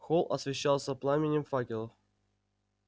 холл освещался пламенем факелов